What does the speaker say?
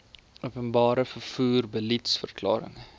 openbare vervoer beliedsverklaring